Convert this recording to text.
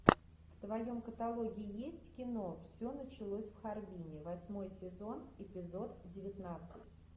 в твоем каталоге есть кино все началось в харбине восьмой сезон эпизод девятнадцать